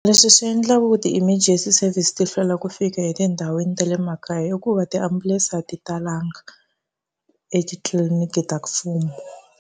Leswi swi endlaku ti-emergency service ti hlwela ku fika etindhawini ta le makaya i ku va tiambulense a ti talanga etitliliniki ta mfumo.